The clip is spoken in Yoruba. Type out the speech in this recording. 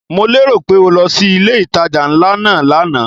Mo lérò pé o lọ sí ilé ìtajà ńlá náà lánàá?